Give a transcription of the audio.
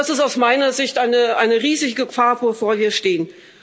Und das ist aus meiner Sicht eine riesige Gefahr, vor der wir stehen.